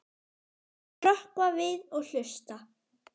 Þau hrökkva við og hlusta.